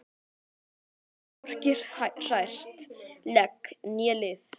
Getur hvorki hrært legg né lið.